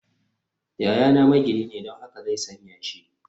Yayana magini ne, don haka zai san yashi